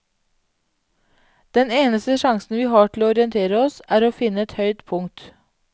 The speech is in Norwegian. Den eneste sjansen vi har til å orientere oss, er å finne et høyt punkt.